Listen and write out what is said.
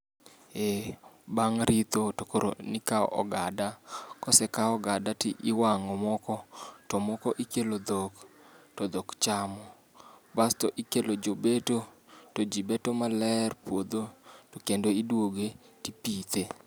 Eh bang' ritho to koro ne ikawo ogada, kosekaw ogada to iwang'o moko, to moko ikelo dhok, to dhok chamo. Bas to ikelo jobeto, to jibeto maler puodho, to kendo iduoge tipithe.